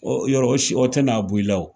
Ɔ yɔrɔ o si o tɛna bɔ i la